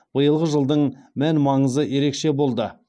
биылғы жылдың мән маңызы ерекше болды